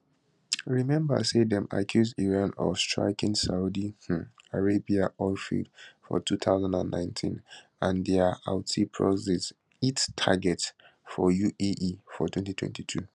remember say dem accuse iran of striking saudi um arabia oil fields for 2019 and dia houthi proxies hit targets for uae for 2022